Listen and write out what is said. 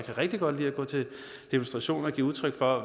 kan rigtig godt lide at gå til demonstration og give udtryk for